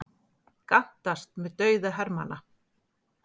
Gantast með dauða hermanna